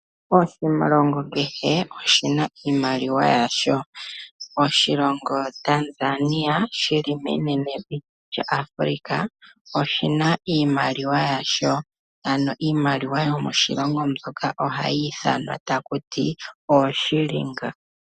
Oshilongo kehe oshina iimaliwa yasho. Oshilongo Tanzania shi li menene vi lya Africa oshina iimaliwa yasho, ano iimaliwa yomoshilongo moka oha yi ithwanwa ta kuti oShilinga.